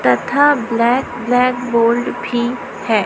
तथा black blackboard भी है।